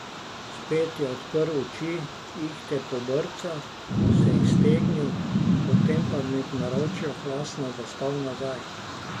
Spet je odprl oči, ihte pobrcal, se iztegnil, potem pa mi v naročju hlastno zaspal nazaj.